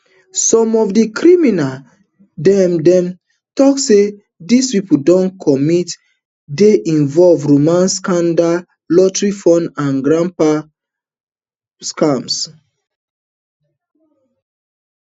some of di crimes dem dem tok say dis pipo don commit dey involve romance scam lottery fraud and grandparent scams